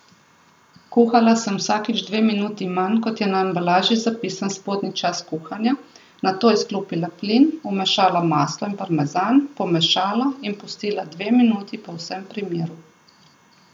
Kuhala sem vsakič dve minuti manj, kot je na embalaži zapisan spodnji čas kuhanja, nato izklopila plin, vmešala maslo in parmezan, pomešala in pustila dve minuti povsem pri miru.